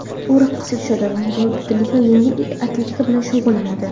U raqsga tushadi, bodibilding va yengil atletika bilan shug‘ullanadi.